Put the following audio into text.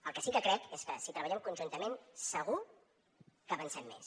el que sí que crec és que si treballem conjuntament segur que avancem més